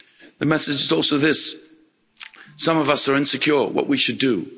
The message is also this some of us are insecure about what we should do.